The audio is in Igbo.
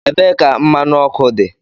Ebee ka mmanụ ọkụ dị?